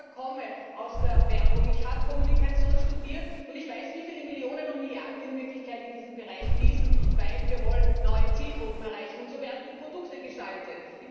Ich selber komme aus der Werbung, ich habe Kommunikation studiert, und ich weiß, wie viele Millionen und Milliarden in Wirklichkeit in diesen Bereich fließen, weil wir neue Zielgruppen erreichen wollen. Und so werden die Produkte gestaltet.